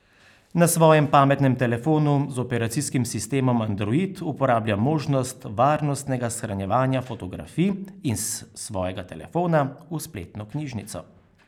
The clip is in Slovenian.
Na svojem pametnem telefonu z operacijskim sistemom Andorid uporablja možnost varnostnega shranjevanja fotografij iz svojega telefona v spletno knjižnico.